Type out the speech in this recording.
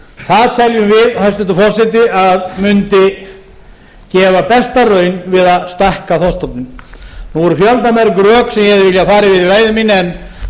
það teljum við hæstvirtur forseti að mundi gefa besta raun við að stækka þorskstofninn nú eru fjöldamörg rök sem ég hefði